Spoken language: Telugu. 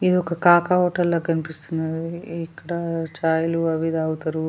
ఇది ఒక కాక హోటల్ లో కనిపిస్తుంది ఇక్కడ చాయి లు అవి తాగుతారు.